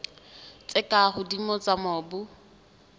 tse ka hodimo tsa mobu